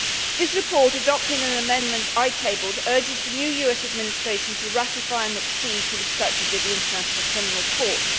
This report, adopting an amendment I tabled, urges the new US Administration to ratify and accede to the Statute of the International Criminal Court.